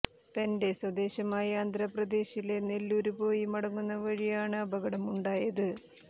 തന്റെ സ്വദേശമായ ആന്ധ്രാപ്രദേശിലെ നെല്ലൂരില് പോയി മടങ്ങുന്ന വഴി ആണ് അപകടം ഉണ്ടായത്